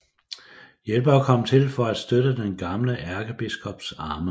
Hjælpere kom til for at støtte den gamle ærkebiskops arme